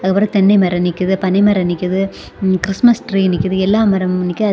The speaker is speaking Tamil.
ஒரு தென்னை மரம் நிக்கிது பணை மரம் நிக்கிது கிறிஸ்துமஸ் ட்ரீ நிக்கிது எல்லா மரமும் நிக்கிது.